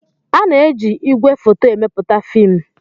Ana-eji ìgwè foto emepụta fiim.